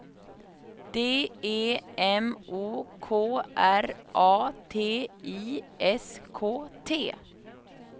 D E M O K R A T I S K T